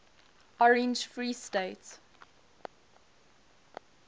orange free state